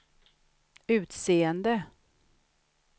utseende